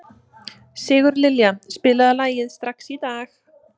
Sigurlilja, spilaðu lagið „Strax í dag“.